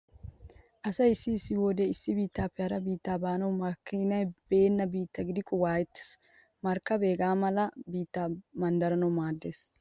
Asay issi issi wode issi biittappe hara biitti baanawu makiinay beenna biitta gidikko waayettees. Markkabee hega mala biitti manddaranawu maaddees.